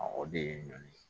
o de ye ɲɔn ye